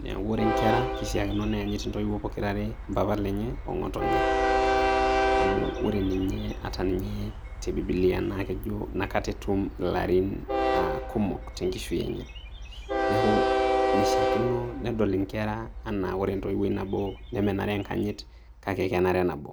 Neeku ore nkera, keishaakino neenyit intoiwuo pokira are, mpapa lenye ong'otonye. Amu ore ninye ata ninye te bibilia, na kejo nakata etum ilarin ah kumok tenkishui enye. Neeku, mishaakino nedol inkera enaa a ore entoiwuoi nabo nemenare enkanyit kake kenare nabo.